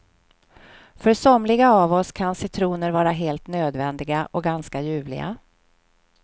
För somliga av oss kan citroner vara helt nödvändiga och ganska ljuvliga.